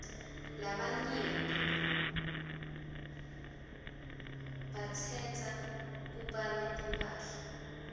labanyenti bayatsrdza kubanya timphahla